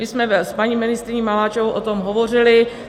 My jsme s paní ministryní Maláčovou o tom hovořily.